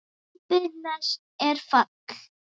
Drambi næst er fall.